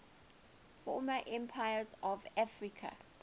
former empires of africa